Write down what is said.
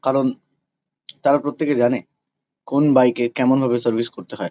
কারণ তারা প্রত্যেকে জানে কোন বাইক -এ কেমন ভাবে সার্ভিস করতে হয়।